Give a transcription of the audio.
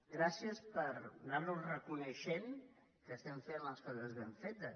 gràcies per anar nos reconeixent que estem fent les coses ben fetes